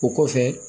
O kɔfɛ